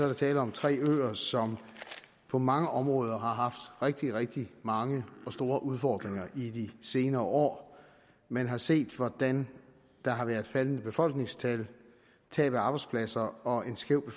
der tale om tre øer som på mange områder har haft rigtig rigtig mange og store udfordringer i de senere år man har set hvordan der har været faldende befolkningstal tab af arbejdspladser og en skæv